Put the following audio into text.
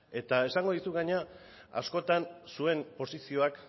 eta esango dizut gainera askotan zuen posizioak